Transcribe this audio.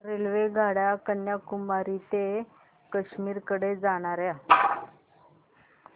रेल्वेगाड्या कन्याकुमारी ते काश्मीर कडे जाणाऱ्या